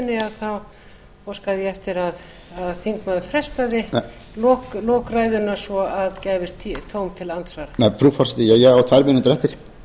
ræðunni þá óska ég eftir að þingmaðurinn frestaði lokum ræðunnar svo gæfist tóm til andsvara frú forseti ég á tvær mínútur eftir